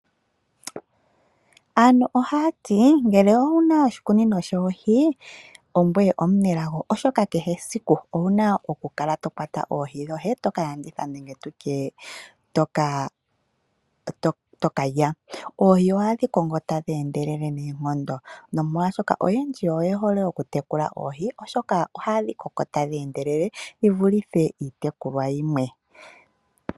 Aantu ohaya ti, ngele owu na oshikunino shoohi, ongoye omunelago oshoka kehe esiku owu na okukala to kwata oohi dhoye to ka landitha nenge tu tye to ka lya. Oohi ohadhi koko tadhi endelele noonkondo, nomolwashoka oyendji oye hole okutekula oohi oshoka ohadhi koko tadhi endelele dhi vulithe iitekulwa yimwe.